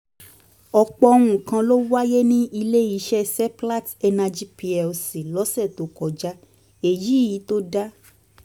ọ̀pọ̀ nǹkan ló wáyé ní ilé iṣẹ́ seplat energy plc lọ́sẹ̀ tó kọjá èyí tó dá